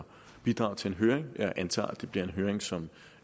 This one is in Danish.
bidrage til en høring jeg antager at det vil blive en høring som